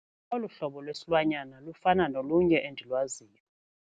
Olu hlobo lwesilwanyana lufana nolunye endilwaziyo.